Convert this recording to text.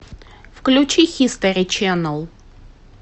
включи хистори ченнел